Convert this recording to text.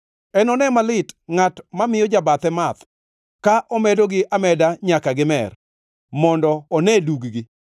“Enone malit ngʼat mamiyo jobathe math, ka omedogi ameda nyaka gimer, mondo one dug-gi.